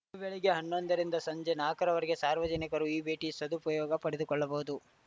ಬೆಳಗ್ಗೆ ಹನ್ನೊಂದ ರಿಂದ ಸಂಜೆ ನಾಕರವರೆಗೆ ಸಾರ್ವಜನಿಕರು ಈ ಭೇಟಿಯ ಸದುಪಯೋಗ ಪಡೆದುಕೊಳ್ಳಬಹುದು